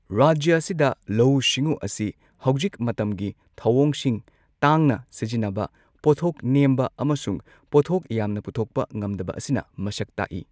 ꯔꯥꯖ꯭ꯌ ꯑꯁꯤꯗ ꯂꯧꯎ ꯁꯤꯡꯎ ꯑꯁꯤ ꯍꯧꯖꯤꯛ ꯃꯇꯝꯒꯤ ꯊꯧꯑꯣꯡꯁꯤꯡ ꯇꯥꯡꯅ ꯁꯤꯖꯤꯟꯅꯕ, ꯄꯣꯠꯊꯣꯛ ꯅꯦꯝꯕ, ꯑꯃꯁꯨꯡ ꯄꯣꯠꯊꯣꯛ ꯌꯥꯝꯅ ꯄꯨꯊꯣꯛꯄ ꯉꯝꯗꯕ ꯑꯁꯤꯅ ꯃꯁꯛ ꯇꯥꯛꯏ꯫